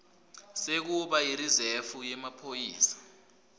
sekuba yirizefu yemaphoyisa